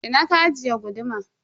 Ina ka ajiye guduman?